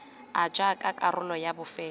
r jaaka karolo ya bofelo